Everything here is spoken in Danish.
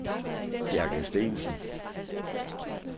Bjarke Steensen